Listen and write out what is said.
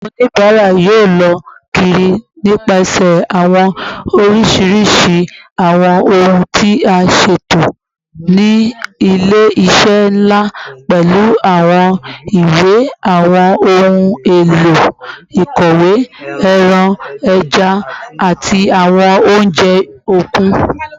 Awọn onibara yoo lọ kiri nipasẹ awọn oriṣiriṣi awọn ohun ti a ṣeto ni ile-iṣẹ nla, pẹlu awọn iwe, awọn ohun elo ikọwe, ẹran, ẹja, ati awọn ounjẹ okun.